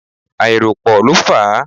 Àìrópọ́ọ̀ ló fà á.